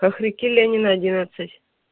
хохряки ленина одинадцать